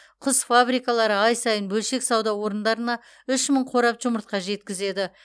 құс фабрикалары ай сайын бөлшек сауда орындарына үш мың қорап жұмыртқа жеткізеді